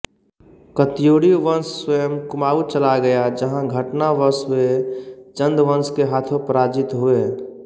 कत्यूरी वंश स्वयं कुमाऊं चला गया जहां घटनावश वे चंद वंश के हाथों पराजित हुए